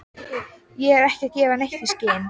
Ég er ekki að gefa neitt í skyn.